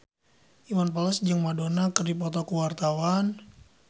Iwan Fals jeung Madonna keur dipoto ku wartawan